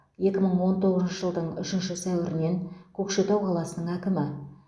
екі мың он тоғызыншы жылдың үшінші сәуірінен көкшетау қаласының әкімі